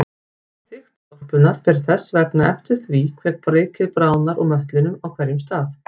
Þykkt skorpunnar fer þess vegna eftir því hve mikið bráðnar úr möttlinum á hverjum stað.